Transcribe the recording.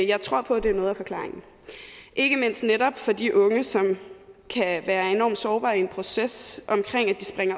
jeg tror på at det er noget af forklaringen ikke mindst for de unge som kan være enormt sårbare i den proces